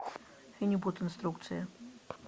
фенибут инструкция